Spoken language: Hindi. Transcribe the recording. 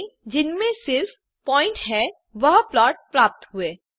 हमें जिनमें सिर्फ़ प्वॉइंट्स हैं वह प्लॉट प्राप्त हुए